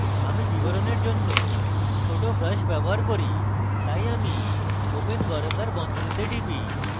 আমি বিবরণের জন্য ছোট brush ব্যবহার করি তাই আমি open বর্গাকার বন্ধনী টিপি